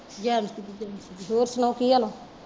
ਜੈਨ ਸੀ ਜੀ ਹੋਰ ਸੁਣਾਓ ਕੀ ਹਾਲ ਐ?